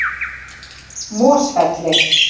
Mosfelli